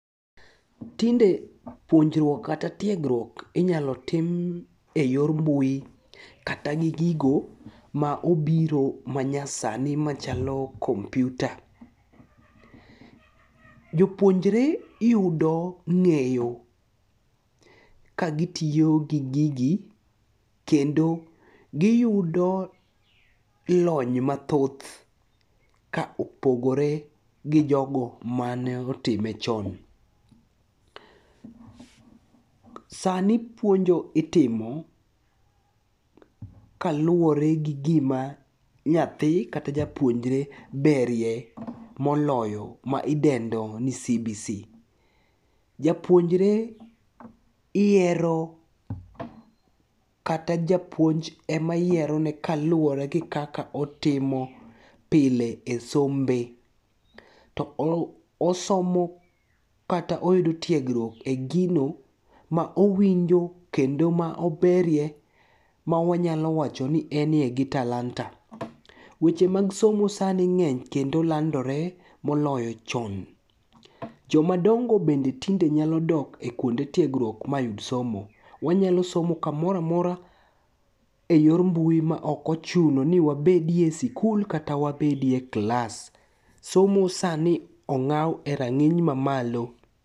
Tinde puonjruok kata tiegruok inyalo tim e yor mbui kata gi gigo ma obiro manyasani machalo kompiuta. Jopuonjre yudo ng'eyo kagitiyo gi gigi, kendo giyudo lony mathoth ka opogore gi jogo maneotime chon. Sani puonjo mitimo kaluwore gi gima nyathi kata japuonjre berye moloyo ma idendo ni CBC. Japuonjre yiero kata japuonj emayierone kaluwore gi kaka otimo pile e sombe to osomo kata oyudo tiegruok e gino ma owinjo kendo ma oberye ma wanyalo wach ni eniye gi talanta. Weche mag somo sani ng'eny kendo landore moloyo chon. Jomadongo bende tinde nyalo dok e kuonde tiegruok mayud somo, wanyalo somo kamoroamora e yor mbui ma ok ochuno ni wabedie e skul kata wabedie klas, somo sani ong'aw e rang'iny mamalo.